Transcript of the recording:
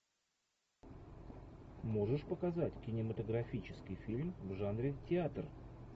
можешь показать кинематографический фильм в жанре театр